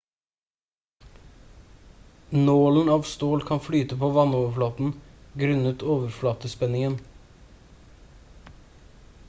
nålen av stål kan flyte på vannoverflaten grunnet overflatespenningen